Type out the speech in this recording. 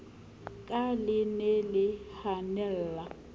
ka le ne le hanella